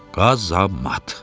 Qazamat.